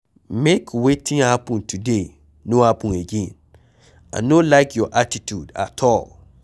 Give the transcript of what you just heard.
Make wetin happen today no happen again, I no like your attitude at all.